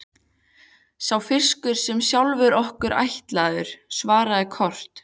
Sá fiskur er sjálfum okkur ætlaður, svaraði Kort.